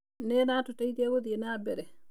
Nĩ ĩratũteithĩa gũthĩĩ na mbere.